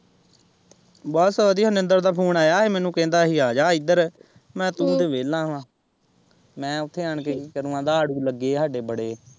ਬਸ ਵਧੀਆ ਨਿੰਦਰ ਦਾ ਫੂਨ ਆਇਆ ਹੀ ਮੈਨੂੰ ਕਹਿੰਦਾ ਹੀ ਆਜਾ ਇੱਧਰ ਮੈਂ ਕਿਹਾ ਤੂੰ ਤੇ ਵਿਹਲਾ ਵਾ ਮੈਂ ਉੱਥੇ ਆਣ ਕੇ ਕੀ ਕਰਨਾ ਆਖਦਾ ਆੜੂ ਲੱਗੇ ਆ ਹਾਂਡੇ ਬੜੇ।